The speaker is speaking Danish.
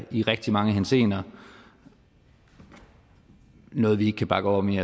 i rigtig mange henseender er noget vi ikke kan bakke op om i